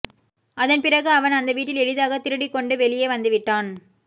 அதன்பிறகு அவன் அந்த வீட்டில் எளிதாகத் திருடிக் கொண்டு வெளியே வந்துவிட்டான்